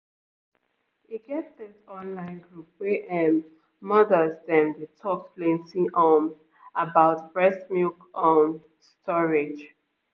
e get this online group wey ehm mothers dem dey talk plenty um about breast milk um storage